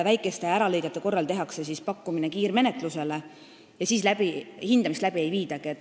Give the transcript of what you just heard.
Väikeste äralõigete korral tehakse kiirmenetluse pakkumine ja siis hindamist läbi ei viidagi.